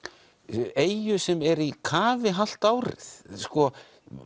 eyju sem er í kafi hálft árið sko